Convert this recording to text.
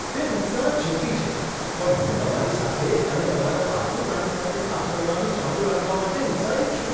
તે ઉત્સાહ ચેપી છે! પણ હું તમારી સાથે અને તમારા પાલતું પ્રાણી સાથે કામ કરવાનું ચાલુ રાખવા માટે ઉત્સાહિત છું.